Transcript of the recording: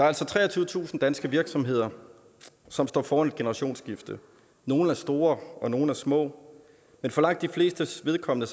altså treogtyvetusind danske virksomheder som står foran et generationsskifte nogle er store og nogle er små men for langt de flestes vedkommende